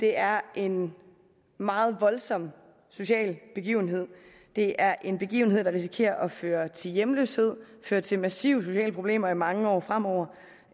er en meget voldsom social begivenhed det er en begivenhed der risikerer at føre til hjemløshed føre til massive sociale problemer i mange år fremover og